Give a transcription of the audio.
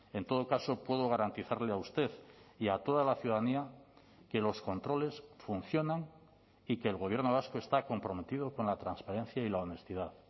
en todo caso puedo garantizarle a usted y a toda la ciudadanía que los controles funcionan y que el gobierno vasco está comprometido con la transparencia y la honestidad